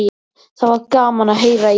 Það var gaman að heyra í þér.